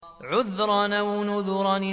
عُذْرًا أَوْ نُذْرًا